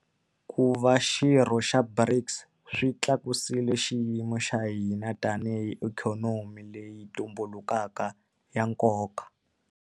Ku va xirho xa BRICS swi tlakusile xiyimo xa hina tanihi ikhonomi leyi tumbulukaka ya nkoka.